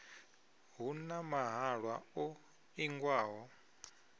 hu na mahalwa o ingiwaho